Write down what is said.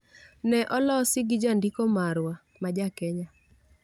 Ne olosi gi jandiko marwa, ma ja Kenya.